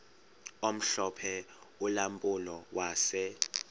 omhlophe ulampulo wase